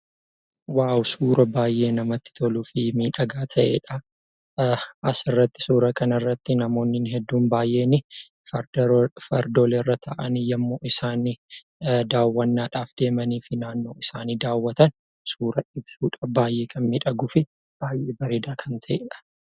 Suuraa baay'ee namatti toluu fi miidhagaa ta'eedha. Asirratti suuraa kanarratti namoonni baay'een fardeen irra taa'anii yeroo isaan daawwannaadhaaf deeman suura mul'isuu fi suuraa bareedaa ta'eedha.